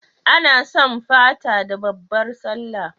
Ana sum Fata da babbar Sallah